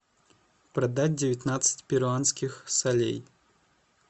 продать девятнадцать перуанских солей